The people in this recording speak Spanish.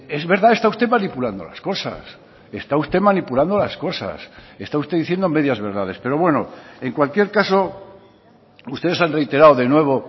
es verdad está usted manipulando las cosas está usted manipulando las cosas está usted diciendo medias verdades pero bueno en cualquier caso ustedes han reiterado de nuevo